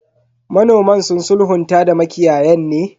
Manoman sun sulhunta da makiyayan ne?